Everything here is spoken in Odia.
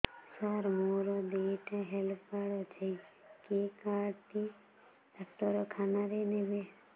ସାର ମୋର ଦିଇଟା ହେଲ୍ଥ କାର୍ଡ ଅଛି କେ କାର୍ଡ ଟି ଡାକ୍ତରଖାନା ରେ ନେବେ